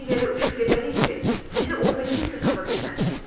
Elə bir yerə uçub gedərik ki, bizi orada kimsə tapa bilməz.